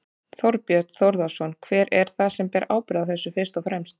Þorbjörn Þórðarson: Hver er það sem ber ábyrgð á þessu fyrst og fremst?